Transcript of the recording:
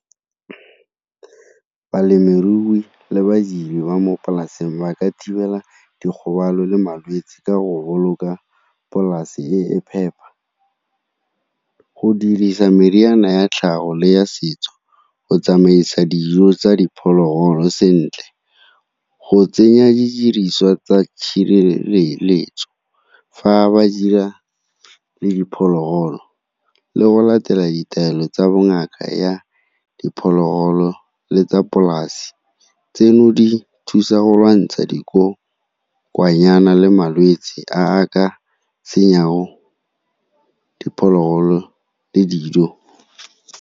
Balemirui le badiri ba mo polaseng ba ka thibela dikgobalo le malwetse ka go boloka polase e e phepa, go dirisa meriana ya tlhago le ya setso, go tsamaisa dijo tsa dipholoholo sentle, go tsenya didiriswa tsa tshireletso fa ba dira le diphologolo le go latela ditaelo tsa ngaka ya diphologolo le tsa polase. Tseno di thusa go lwantsha di le malwetse a a ka tsenyang diphologolo le dijo.